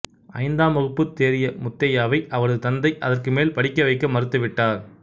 ஐந்தாம் வகுப்பு தேறிய முத்தையாவை அவரது தந்தை அதற்கு மேல் படிக்கவைக்க மறுத்துவிட்டார்